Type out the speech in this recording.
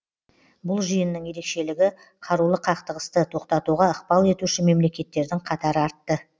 бұл жиынның ерекшелігі қарулы қақтығысты тоқтатуға ықпал етуші мемлекеттердің қатары артты